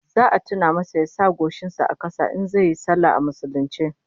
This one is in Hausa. Za a tuna masa ya sa goshin sa a kasa in zai yi sallah a musulunce